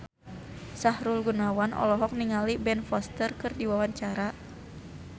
Sahrul Gunawan olohok ningali Ben Foster keur diwawancara